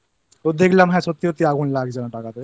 তো দেখলাম হ্যাঁ সত্যি সত্যি আগুন লাগছে না টাকাতে